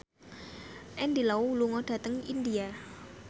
Andy Lau lunga dhateng India